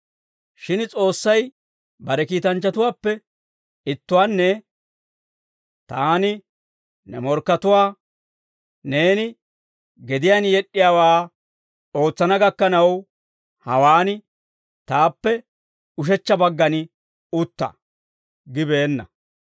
Shin S'oossay bare kiitanchchatuwaappe ittuwaanne, «Taani ne morkkatuwaa neeni gediyaan yed'd'iyaawaa ootsana gakkanaw, hawaan taappe ushechcha baggan utta» gibeenna.